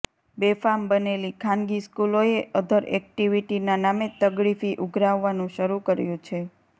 બેફામ બનેલી ખાનગી સ્કૂલોએ અધર એક્ટિવિટીના નામે તગડી ફી ઉઘરાવવાનું શરૃ કર્યુ છે